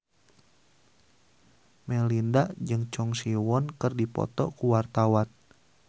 Melinda jeung Choi Siwon keur dipoto ku wartawan